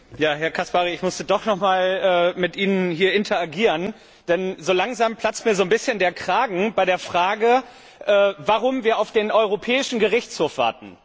Herr Caspary, ich musste doch noch mal hier mit Ihnen interagieren, denn so langsam platzt mir ein bisschen der Kragen bei der Frage, warum wir auf den Europäischen Gerichtshof warten.